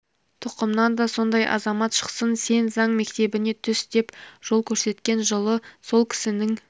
тұқымнан да сондай азамат шықсын сен заң мектебіне түс деп жол көрсеткен жылы сол кісінің